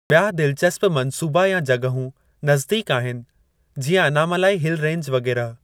ॿिया दिलचस्प मंसूबा या जॻहूं नज़दीक आहिनि जीअं अनामलाई हिल रेंज वग़ैरह।